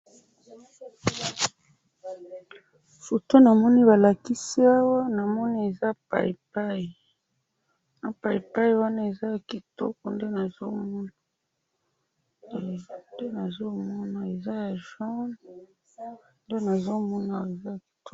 photo namoni balakisi awa namoni eza payipayi na payipayi wana eza ya kitoko nde nazomona eeehh nde nazomana eza ya jaune nde nazomona